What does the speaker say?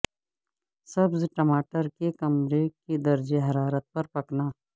سبز ٹماٹر کے کمرے کے درجہ حرارت پر پکنا